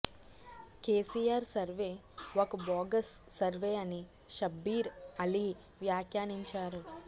KCR survey ఒక bogus survey అని షబ్బీర్ అలీ వ్యాఖ్యానించారు